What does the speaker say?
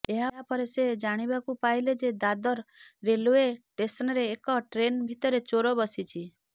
ଏହାପରେ ସେ ଜାଣିବାକୁ ପାଇଲେ ଯେ ଦାଦର୍ ରେଲୱେ ଷ୍ଟେସନ୍ରେ ଏକ ଟ୍ରେନ୍ ଭିତରେ ଚୋର ବସିଛି